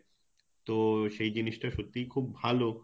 তো সেই জিনিস টা সত্যিই খুব ভালো